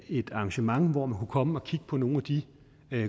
et arrangement hvor man kunne komme og kigge på nogle af de